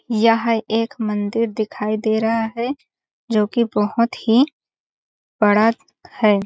यह एक मंदिर दिखाई दे रहा है जो की बहोत ही बड़ा है।